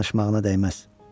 Danışmağına dəyməz.